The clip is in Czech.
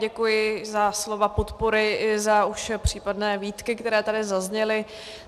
Děkuji za slova podpory i za už případné výtky, které tady zazněly.